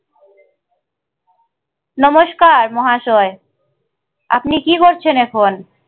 নমস্কার মহাশয় আপনি কি করছেন এখন?